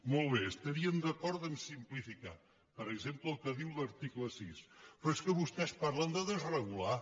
molt bé estaríem d’acord a simplificar per exemple el que diu l’article sis però és que vostès parlen de desregular